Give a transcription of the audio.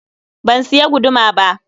Ban siya guduma ba.